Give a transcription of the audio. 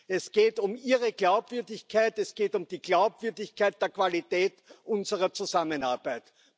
Es geht um Ihre Glaubwürdigkeit. Es geht um die Glaubwürdigkeit der Qualität unserer Zusammenarbeit.